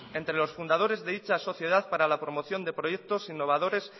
entre los fundadores de dicha sociedad para la promoción de proyectos innovadores